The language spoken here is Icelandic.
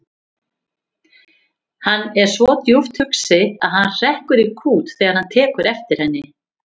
Hann er svo djúpt hugsi að hann hrekkur í kút þegar hann tekur eftir henni.